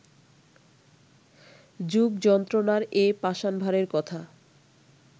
যুগযন্ত্রণার এ পাষাণভারের কথা